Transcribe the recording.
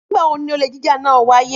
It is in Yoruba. Nígbà wo ni olè jíjà náà wáyé?